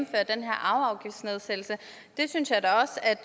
arveafgiftsnedsættelse det synes jeg da også at